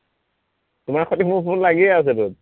তোমাৰ সৈতে মোৰ ফোন লাগিয়েই আছে চোন